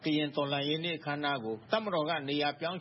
ကရင်တော်လှန်ရေးအခမ်းအနားကို နေရာပြောင်း